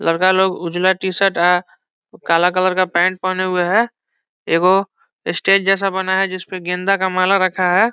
लड़का लोग उजला टी-शर्ट अ काला कलर का पेंट पहने हुए है एक गो स्टेज जैसा बना है जिस पे गेंदा का माला रखा है।